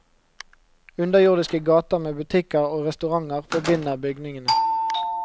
Underjordiske gater med butikker og restauranter forbinder bygningene.